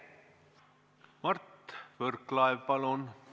Mart Võrklaev, palun!